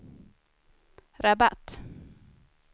Rabat